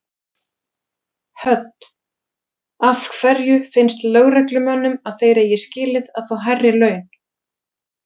Hödd: Af hverju finnst lögreglumönnum að þeir eigi skilið að fá hærri laun?